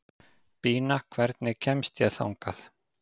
Bína, hvernig kemst ég þangað?